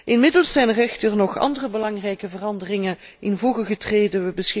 Inmiddels zijn er echter nog andere belangrijke veranderingen in voege getreden.